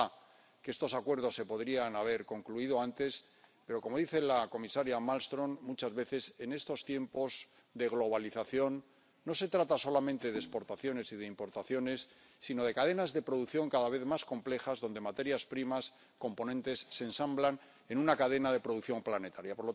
Es verdad que estos acuerdos se podrían haber concluido antes, pero, como dice la comisaria Malmström, muchas veces, en estos tiempos de globalización, no se trata solamente de exportaciones y de importaciones, sino de cadenas de producción cada vez más complejas donde materias primas y componentes se ensamblan en una cadena de producción planetaria.